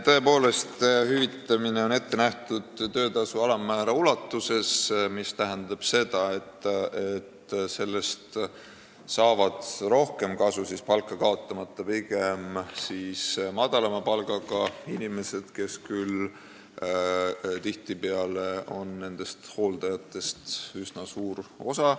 Tõepoolest, hüvitamine on ette nähtud töötasu alammäära ulatuses, mis tähendab seda, et sellest saavad rohkem kasu, ei kaota palgas pigem madalama palgaga inimesed, kes nendest hooldajatest moodustavad üsna suure osa.